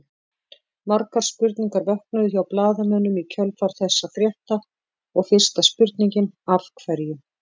Margar spurningar vöknuðu hjá blaðamönnum í kjölfar þessa frétta og fyrsta spurningin Af hverju?